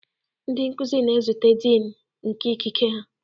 Ndị nkuzi na-ezute Dean nke ikike ha